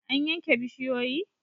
An yanke bishiyoyi?